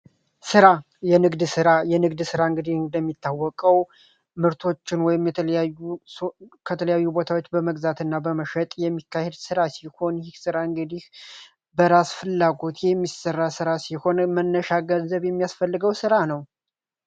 ስራ የንግድ ስራ የንግድ ስራ እንግዲህ እንደሚታወቀው ምርቶችን ወይም የተለያዩ ከተለያዩ ቦታዎች በመግዛትና በመሸጥ የሚካሄድ ስራ በራስ ፍላጎት የሚሰራ ስራ ሲሆን፤ መነጋገር የሚያስፈልገው ስራ ነው።